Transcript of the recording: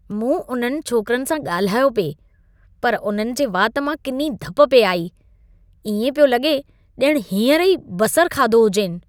मूं उन्हनि छोकरनि सां ॻाल्हायो पिए, पर उन्हनि जे वात मां किनी धप पिए आई। इएं पियो लॻे ॼण हींअर ई बसरु खाधो हुजेनि।